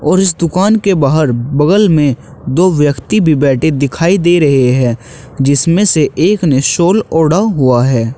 और इस दुकान के बाहर बगल में दो व्यक्ति भी बैठे दिखाई दे रहे हैं जिसमें से एक ने शाल ओढ़ा हुआ है।